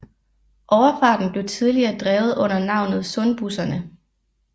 Overfarten blev tidligere drevet under navnet Sundbusserne